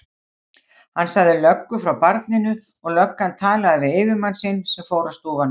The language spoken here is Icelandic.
Hann sagði löggu frá barninu og löggan talaði við yfirmann sinn sem fór á stúfana.